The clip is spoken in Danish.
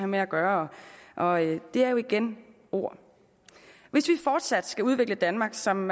med at gøre og det er igen ord hvis vi fortsat skal udvikle danmark som